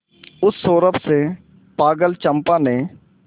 उस सौरभ से पागल चंपा ने